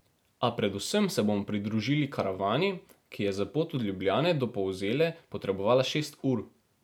A predvsem se bomo pridružili karavani, ki je za pot od Ljubljane do Polzele potrebovala šest ur.